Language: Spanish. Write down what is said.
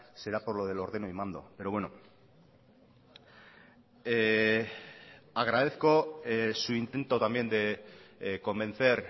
será por lo del ordeno y mando pero bueno agradezco su intento también de convencer